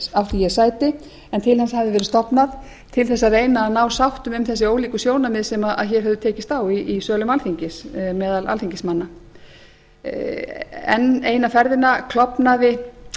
átti ég sæti en til hans hafði verið stofnað til að reyna að ná sáttum um þessi ólíku sjónarmið sem hér hefur verið tekist á um í sölum alþingis meðal alþingismanna enn eina ferðina klofnaði